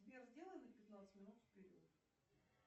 сбер сделай на пятнадцать минут вперед